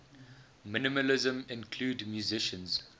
minimalism include musicians